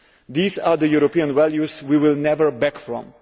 These are the European values we will never back off from.